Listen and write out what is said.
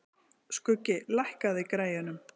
Skuggi, lækkaðu í græjunum.